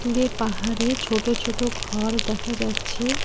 দূরে পাহাড়ে ছোট ছোট ঘর দেখা যাচ্ছে।